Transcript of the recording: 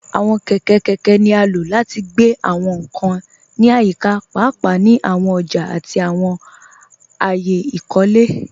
Àwọn kẹkẹ kẹkẹ ni a ló láti gbẹ̀ àwọn nkàn ní ayíkà, páápàá ni àwọn òjà àti àwọn ayé ìkólẹ.